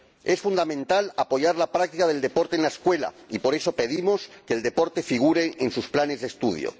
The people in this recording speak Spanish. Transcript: Es fundamental apoyar la práctica del deporte en la escuela, y por eso pedimos que el deporte figure en sus planes de estudio.